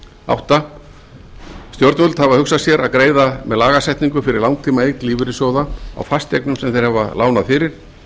áttunda stjórnvöld hafa hugsað sér að greiða með lagasetningu fyrir langtímaeign lífeyrissjóða á fasteignum sem þeir hafa lánað fyrir